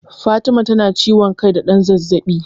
Fatima tana ciwon kai da ɗan zazzaɓi.